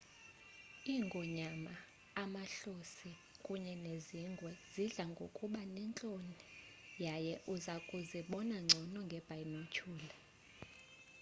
iingonyama amahlosi kunye nezingwe zidla ngokuba nentloni yaye iza kuzibona ngcono ngeebhaynotyhula